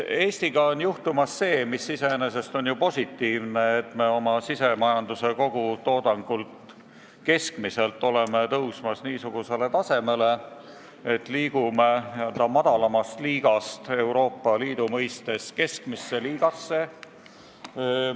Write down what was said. Eestiga on juhtumas see, mis iseenesest on ju positiivne, et me oma keskmise sisemajanduse kogutoodanguga hakkame Euroopa Liidus tõusma nii kõrgele tasemele, et liigume n-ö madalamast liigast keskmisse liigasse.